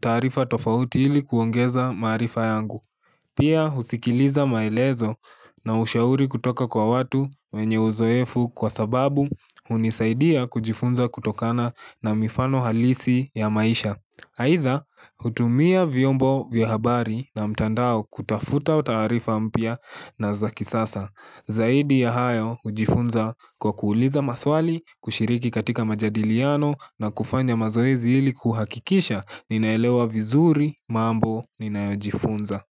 taarifa tofauti ili kuongeza maarifa yangu. Pia husikiliza maelezo na ushauri kutoka kwa watu wenye uzoefu kwa sababu unisaidia kujifunza kutokana na mifano halisi ya maisha. Haidha hutumia vyombo vya habari na mtandao kutafuta au taatifa mpya na zakisasa. Zaidi ya hayo hujifunza kwa kuuliza maswali, kushiriki katika majadiliano na kufanya mazoezi ili kuhakikisha ninaelewa vizuri mambo ninayojifunza.